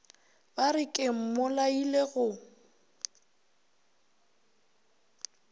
ba re ke mmolaile go